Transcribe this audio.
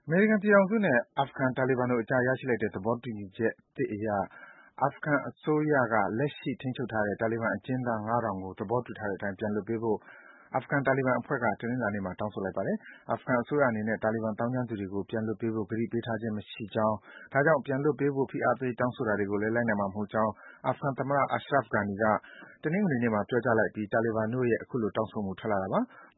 မေရိကန်ပြည်ထောင်စုနဲ့ အာဖဂန် တာလီဘန်တို့အကြား ရရှိလိုက်တဲ့ သဘောတူညီချက်သစ်အရ အာဖဂန်အစိုးရက လက်ရှိ ထိန်းချုပ်ထားတဲ့ တာလီဘန်အကျဉ်းသား ၅,၀၀၀ ကို သဘောတူ ထားတဲ့အတိုင်း ပြန်လွှတ်ပေးဖို့ အာဖဂန် တာလီဘန်အဖွဲ့က တနင်္လာနေ့မှာ တောင်းဆိုလိုက်ပါတယ်။ အာဖဂန်အစိုးရအနေနဲ့ တာလီဘန် သောင်းကျန်းသူတွေကို ပြန်လွှတ်ပေးဖို့ ကတိပေးထားခြင်း မရှိကြောင်း၊ ဒါကြောင့် ပြန်လွှတ်ပေးဖို့ ဖိအားပေး တောင်းဆိုတာတွေကိုလည်း လိုက်နာမှာ မဟုတ်ကြောင်း အာဖဂန်သမ္မတ Ashraf Ghani က တနင်္ဂနွေနေ့မှာ ပြောကြားအပြီး တာလီဘန်တို့ရဲ့ အခုလို တောင်းဆိုမှု ထွက်လာတာပါ။